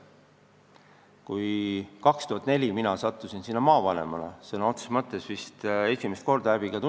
Kui ma aastal 2004 maavanemana sinna esimest korda – häbi tunnistada!